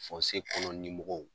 Fɔnse kɔnɔ limɔgɔw